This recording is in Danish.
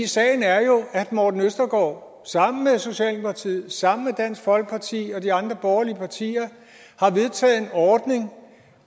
sagen er jo at herre morten østergaard sammen med socialdemokratiet sammen med dansk folkeparti og de andre borgerlige partier har vedtaget en ordning